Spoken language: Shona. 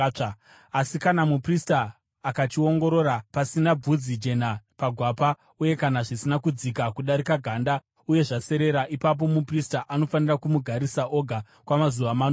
Asi kana muprista akachiongorora, pasina bvudzi jena pagwapa uye kana zvisina kudzika kudarika ganda uye zvaserera, ipapo muprista anofanira kumugarisa oga kwamazuva manomwe.